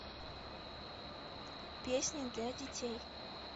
песни для детей